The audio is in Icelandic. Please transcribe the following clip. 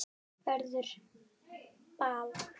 Verður ball?